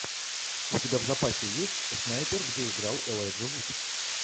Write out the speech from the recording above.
у тебя в запасе есть снайпер где играл элайджа вуд